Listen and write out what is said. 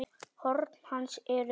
Horn hans eru öll gleið.